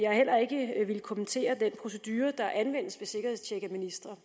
har heller ikke villet kommentere den procedure der anvendes ved sikkerhedstjek af ministre